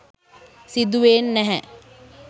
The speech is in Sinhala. සිදු වෙන් නැහැ